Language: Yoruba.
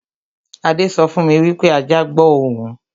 Adé sọ fún mi wípé ajá gbó òun